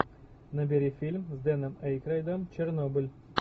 набери фильм с дэном эйкройдом чернобыль